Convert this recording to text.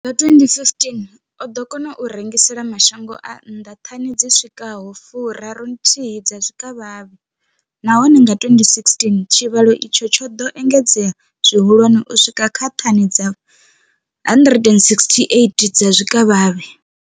Nga 2015, o ḓo kona u rengisela mashango a nnḓa thani dzi swikaho 31 dza zwikavhavhe, nahone nga 2016 tshivhalo itshi tsho ḓo engedzea zwihulwane u swika kha thani dza 168 dza zwikavhavhe.